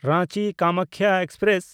ᱨᱟᱸᱪᱤ–ᱠᱟᱢᱟᱠᱠᱷᱟ express